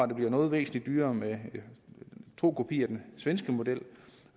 det bliver væsentlig dyrere med en tro kopi af den svenske model